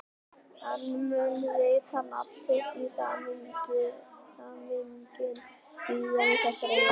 Hann mun rita nafn sitt á samninginn síðar í þessari viku.